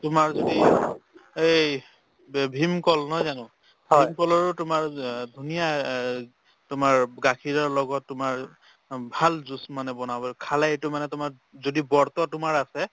তোমাৰ যদি এই ব ভীমকল নহয় জানো ভীমকলৰো তোমাৰ অ ধুনীয়া অ তোমাৰ গাখীৰৰ লগত তোমাৰ অ ভাল juice মানে বনাব পাৰো খালে এইটো মানে তোমাৰ যদি ব্ৰত তোমাৰ আছে